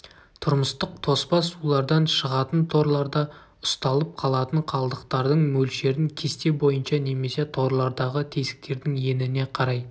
тұрмыстық тоспа сулардан шығатын торларда ұсталып қалатын қалдықтардың мөлшерін кесте бойынша немесе торлардағы тесіктердің еніне қарай